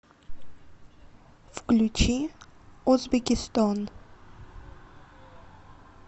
включи озбекистон